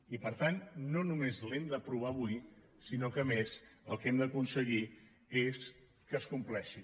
i per tant no només l’hem d’aprovar avui sinó que a més el que hem d’aconseguir és que es compleixi